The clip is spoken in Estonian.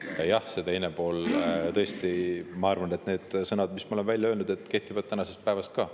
Ja see teine pool – tõesti, ma arvan, et need sõnad, mis ma olen välja öelnud, kehtivad tänasel päeval ka.